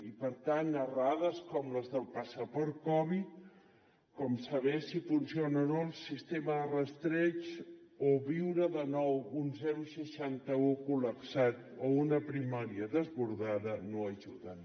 i per tant errades com les del passaport covid com saber si funciona o no el sistema de rastreig o viure de nou un seixanta un col·lapsat o una primària desbordada no ajuden